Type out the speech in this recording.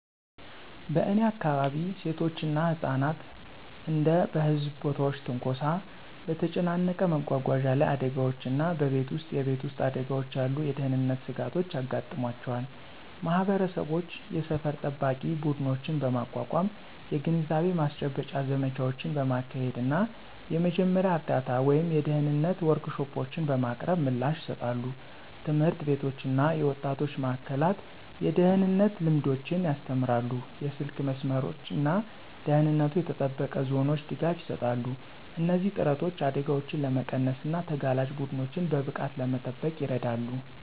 በእኔ አካባቢ፣ ሴቶች እና ህጻናት እንደ በህዝብ ቦታዎች ትንኮሳ፣ በተጨናነቀ መጓጓዣ ላይ አደጋዎች እና በቤት ውስጥ የቤት ውስጥ አደጋዎች ያሉ የደህንነት ስጋቶች ያጋጥሟቸዋል። ማህበረሰቦች የሰፈር ጠባቂ ቡድኖችን በማቋቋም፣ የግንዛቤ ማስጨበጫ ዘመቻዎችን በማካሄድ እና የመጀመሪያ እርዳታ ወይም የደህንነት ወርክሾፖችን በማቅረብ ምላሽ ይሰጣሉ። ትምህርት ቤቶች እና የወጣቶች ማእከላት የደህንነት ልምዶችን ያስተምራሉ, የስልክ መስመሮች እና ደህንነቱ የተጠበቀ ዞኖች ድጋፍ ይሰጣሉ. እነዚህ ጥረቶች አደጋዎችን ለመቀነስ እና ተጋላጭ ቡድኖችን በብቃት ለመጠበቅ ይረዳሉ።